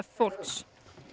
fólks